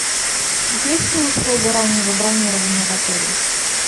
есть ли услуга раннего бронирования в отеле